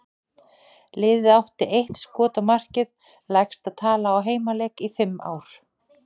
Liðið átti eitt skot á markið, lægsta tala á heimaleik í fimm ár.